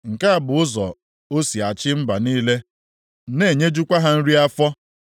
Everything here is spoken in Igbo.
Nke a bụ ụzọ o si achị mba niile na-enyejukwa ha nri afọ.